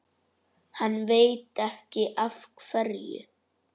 Hann veit ekki af hverju.